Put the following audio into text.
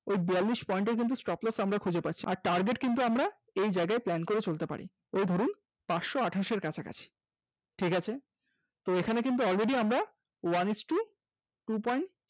আর বিয়াল্লিশ point এর stop loss আমরা খুঁজে পাচ্ছি, আর target কিন্তু আমরা এই জায়গায় plan করে চলতে পারি এই ধরুন পাঁচশ আঠাশ এর কাছাকাছি ঠিক আছে এখানে কিন্তু already আমরা one isto two point